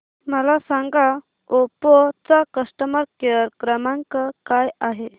मला सांगा ओप्पो चा कस्टमर केअर क्रमांक काय आहे